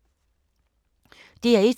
DR1